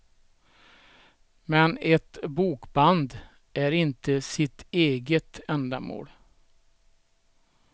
Men ett bokband är inte sitt eget ändamål.